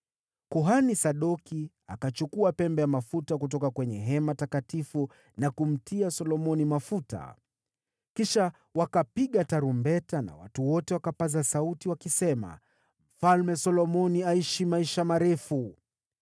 Kuhani Sadoki akachukua pembe ya mafuta kutoka kwenye hema takatifu na kumtia Solomoni mafuta. Kisha wakapiga tarumbeta na watu wote wakapaza sauti wakisema, “Mfalme Solomoni aishi maisha marefu!”